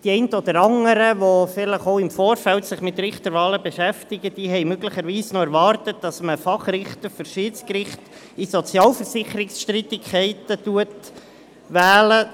Die einen oder anderen, die sich vielleicht auch im Vorfeld mit Richterwahlen beschäftigen, haben möglicherweise noch erwartet, dass man einen Fachrichter für das Schiedsgericht in Sozialversicherungsstreitigkeiten wählt.